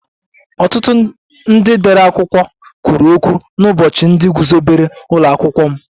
Ọtụtụ ndị dere akwụkwọ kwuru okwu n'ụbọchị ndị guzobere ụlọ akwụkwọ m